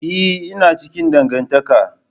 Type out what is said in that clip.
Eh ina cikin dangantaka.